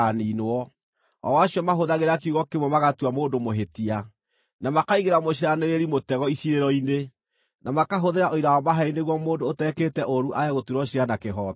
o acio mahũthagĩra kiugo kĩmwe magatua mũndũ mũhĩtia, na makaigĩra mũciiranĩrĩri mũtego iciirĩro-inĩ, na makahũthĩra ũira wa maheeni nĩguo mũndũ ũtekĩte ũũru aage gũtuĩrwo ciira na kĩhooto.